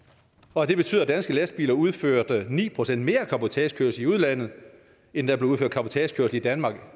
og det betyder at danske lastbiler udførte ni procent mere cabotagekørsel i udlandet end der blev udført cabotagekørsel i danmark